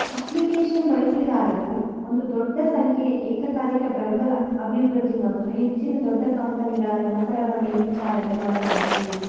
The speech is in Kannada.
ಅಪ್ಲಿಕೇಶನ್ ಬಳಕೆದಾರರು ಒಂದು ದೊಡ್ಡ ಸಂಖ್ಯೆಯ ಏಕಕಾಲಿಕ ಬೆಂಬಲ ಅಭಿವೃದ್ಧಿ ಮತ್ತು ಹೆಚ್ಚಿದ ದೊಡ್ಡ ಕಂಪೆನಿಗಳ ನೌಕರರ ಮೇಲ್ವಿಚಾರಣೆ ಮಾಡಲಾಯಿತು